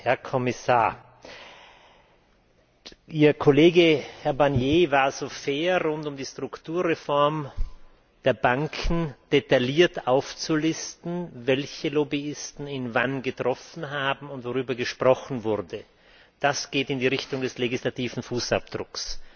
Herr Kommissar, Ihr Kollege Herr Barnier war so fair, rund um die Strukturreform der Banken detailliert aufzulisten, welche Lobbyisten ihn wann getroffen haben und worüber gesprochen wurde. Das geht in die Richtung des legislativen Fußabdrucks.